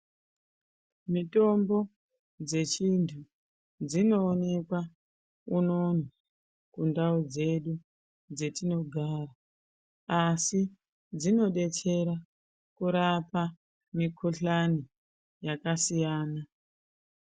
Mitombo dzechindu dzinoonekwa unono kundau dzedu dzetinogara asi dzinodetsera kurapa mukuhlani yakasiyana.